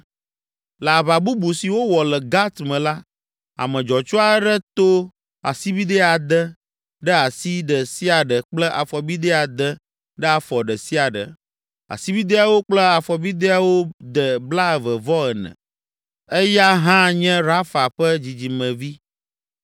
Le aʋa bubu si wowɔ le Gat me la, ame dzɔtsu aɖe to asibidɛ ade ɖe asi ɖe sia ɖe kple afɔbidɛ ade ɖe afɔ ɖe sia ɖe, asibidɛawo kple afɔbidɛawo de blaeve-vɔ-ene. Eya hã nye Rafa ƒe dzidzimevi.